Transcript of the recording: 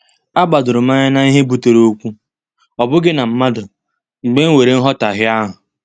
A gbadorom anya n'ihe butere okwu, ọ bụghị na mmadụ, mgbe e nwere nhotahio ahụ.